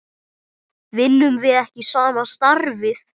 Vinnum við ekki sama starfið?